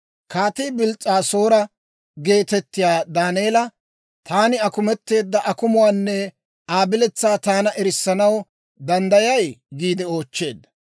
Kaatii Bils's'aasoora geetettiyaa Daaneela, «Taani akumetteedda akumuwaanne Aa biletsaa taana erissanaw danddayay?» giide oochcheedda.